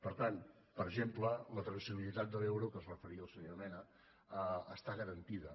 per tant per exemple la traçabilitat de l’euro a què es referia el senyor mena està garantida